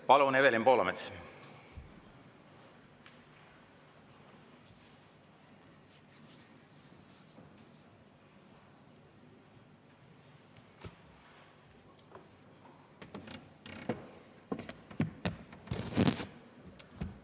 Palun, Evelin Poolamets!